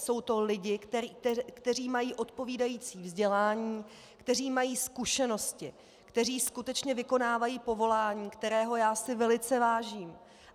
Jsou to lidé, kteří mají odpovídající vzdělání, kteří mají zkušenosti, kteří skutečně vykonávají povolání, kterého já si velice vážím.